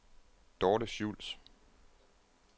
Dorte Schultz